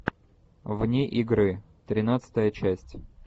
вне игры тринадцатая часть